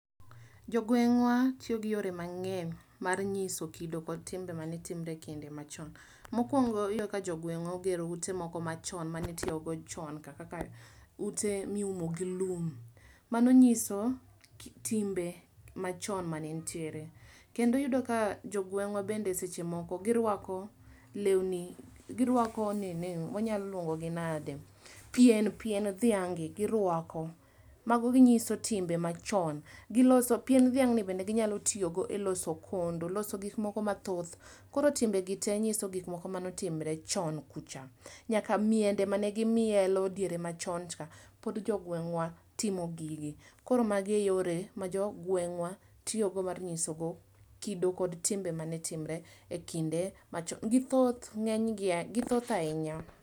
Jogweng'wa tio gi yore mang'eny mar ng'iso kido kod timbe mane timre e kinde machon. Mokwongo, iyudo ka jogweng'wa ogero ute moko machon manitiogo chon kaka ute miumo gi lum. Mano nyiso ki timbe machon manentier. Kendo iyudo ka jogweng'wa bende seche moko girwako lewni girwako nini wanyalo luongogi nade pien pien dhiang' gi girwako. Mago ginyiso timbe machon. Giloso pien dhiang'ni bende ginyalo tiogo e loso kondo loso gikmoko mathoth. Koro timbe gi tee nyiso gik manotimre chon kucha. Nyaka miende mane gimielo diere machon cha. Pod jogweng'wa timo gigi. Koro magi e yore ma jogweng'wa tiogo mar nyisogo kido kod timbe mane timre e kinde machon, githoth ng'enygi gia githoth ahinya.